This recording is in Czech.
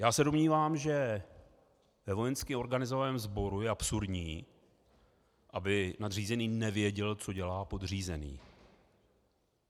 Já se domnívám, že ve vojensky organizovaném sboru je absurdní, aby nadřízený nevěděl, co dělá podřízený.